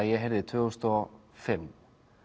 ég heyrði tvö þúsund og fimm